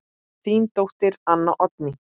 Þín dóttir, Anna Oddný.